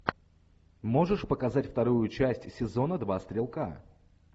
можешь показать вторую часть сезона два стрелка